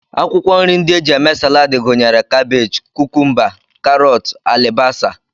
Akwụkwọ nri ndị e ji eme Salad gụnyere kabej, kukumba, karọt, alibasa